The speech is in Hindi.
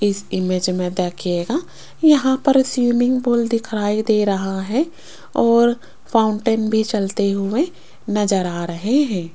इस इमेज में देखिएगा यहां पर स्विमिंग पूल दिखाई दे रहा है और फाउंटेन भी चलते हुए नजर आ रहे हैं।